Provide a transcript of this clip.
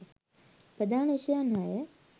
ප්‍රධාන විෂයයන් හය